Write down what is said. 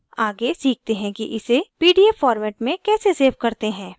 आगे सीखते हैं कि इसे pdf format में कैसे सेव करते हैं